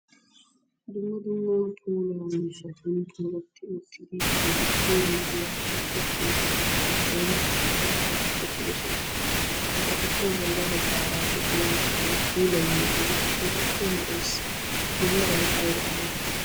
Dumma dumma puulaa miishshaati dooretti uttidi keehippe lo'iya suchvha keettaa giddon asati uttiddossona. Ha astuppe bolla baggaara de'iyaa puulayiyoogee keehippe lo'ees. A meray aybaa malati?